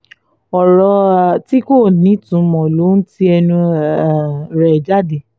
ọ̀rọ̀ um tí kò ní ìtumọ̀ ló ń ti ẹnu um rẹ̀ jáde